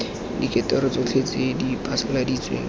direkoto tsotlhe tse di phasaladitsweng